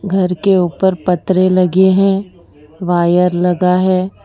घर के ऊपर पतरे लगे हैं वायर लगा है।